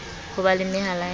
ho ba le mehala ya